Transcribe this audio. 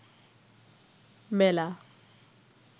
মেলা